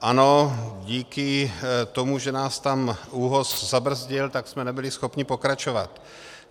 Ano, díky tomu, že nás tam ÚOHS zabrzdil, tak jsme nebyli schopni pokračovat.